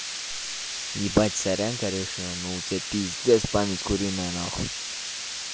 ебать сорян конечно но у тебя пиздец память куриная нахуй